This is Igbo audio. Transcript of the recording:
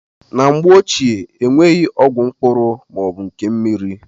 Na mgbe ochie, enweghị ọgwụ mkpụrụ ma ọ bụ nke mmiri.